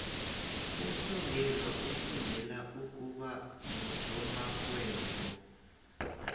umsongelwa ufundela ukuba ngusomarhwebo